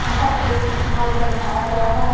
यहा एक food court बनाया गया है।